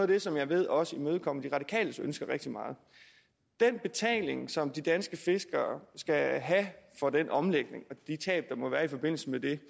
det som jeg ved også imødekommer de radikales ønsker rigtig meget den betaling som de danske fiskere skal have for den omlægning og de tab der må være i forbindelse med det